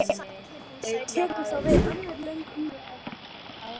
Tekur þá við önnur löng umræða?